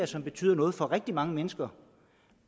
som betyder noget for rigtig mange mennesker